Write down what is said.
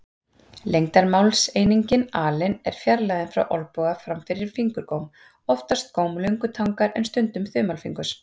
Lengdarmálseiningin alin er fjarlægðin frá olnboga fram fyrir fingurgóm, oftast góm löngutangar en stundum þumalfingurs.